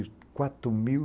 quatro mil